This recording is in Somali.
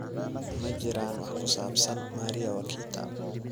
Ma jiraan wax ku saabsan Maria Wakita?